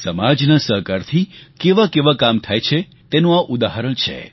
સમાજના સહકારથી કેવાં કેવાં કામ થાય છે તેનું આ ઉદાહરણ છે